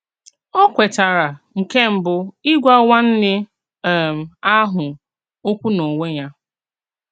Ó kwètàrà, nke mbú, ígwà nwànnè um ahụ òkwù n’onwè ya.